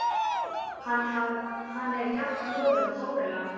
Hann er jafn loðinn og górilla.